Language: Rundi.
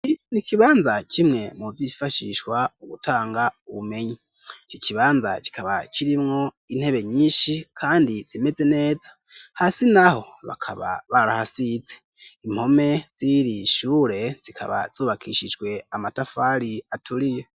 nikibanza kimwe mu bifashishwa mugutanga ubumenyi icyo kibanza kikaba kirimwo intebe nyinshi kandi zimeze neza hasi naho bakaba barahasize impome zirishure zikaba zubakishijwe amatafari aturiyo